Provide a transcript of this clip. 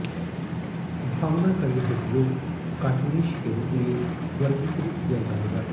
भावना का यह उपयोग कार्टूनिश के रूप में वर्गीकृत किया जाएगा